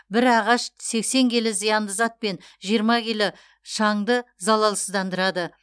бір ағаш сексен келі зиянды зат пен жиырма келі шаңды залалсыздандырады